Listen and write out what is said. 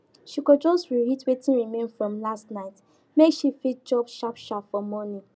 she go just reheat wetin remain from last night make she fit chop sharpsharp for morning